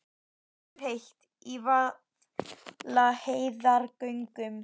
Loftið er heitt í Vaðlaheiðargöngum.